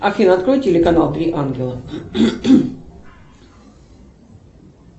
афина открой телеканал три ангела